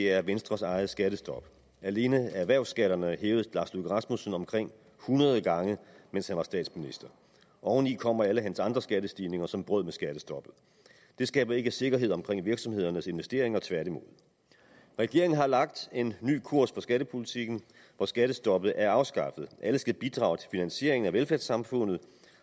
er venstres eget skattestop alene erhvervsskatterne hævede herre lars løkke rasmussen omkring hundrede gange mens han var statsminister oveni kommer alle hans andre skattestigninger som brød med skattestoppet det skaber ikke sikkerhed omkring virksomhedernes investeringer tværtimod regeringen har lagt en ny kurs for skattepolitikken og skattestoppet er afskaffet alle skal bidrage til finansieringen af velfærdssamfundet